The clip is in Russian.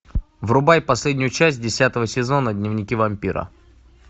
врубай последнюю часть десятого сезона дневники вампира